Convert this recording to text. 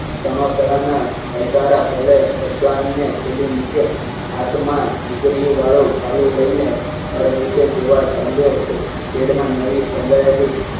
સણોસરા ના અલકારા ભલે ટપ્પાલ ને થેલી મૂકી. હાથ માં ઘુઘરીયું વાળું ભાલું લઈને ચાલ્યો છે. કેડમા નવી